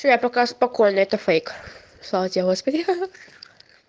всё я пока спокойна это фейк слава тебе господи ха-ха